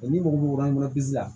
ni mɔgɔ min kɔnɔzin la